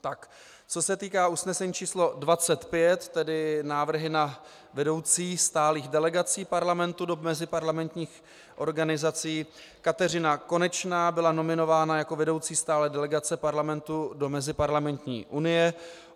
Co se týká usnesení číslo 25, tedy návrhy na vedoucí stálých delegací Parlamentu do meziparlamentních organizací, Kateřina Konečná byla nominována jako vedoucí stálé delegace Parlamentu do Meziparlamentní unie.